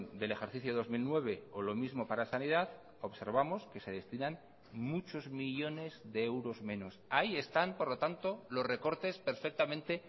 del ejercicio dos mil nueve o lo mismo para sanidad observamos que se destinan muchos millónes de euros menos ahí están por lo tanto los recortes perfectamente